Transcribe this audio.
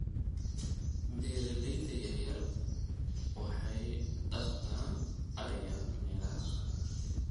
Beeralayda yaryar waxay dhaqdaan ariga meelaha qallalan.